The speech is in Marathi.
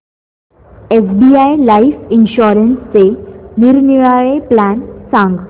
एसबीआय लाइफ इन्शुरन्सचे निरनिराळे प्लॅन सांग